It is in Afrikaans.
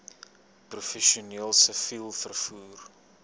professioneel siviel vervoer